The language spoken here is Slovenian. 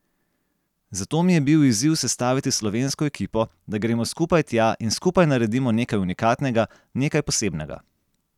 Zato mi je bil izziv sestaviti slovensko ekipo, da gremo skupaj tja in skupaj naredimo nekaj unikatnega, nekaj posebnega.